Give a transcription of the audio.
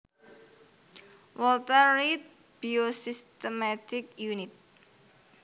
Walter Reed Biosystematics Unit